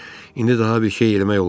İndi daha bir şey eləmək olmazdı.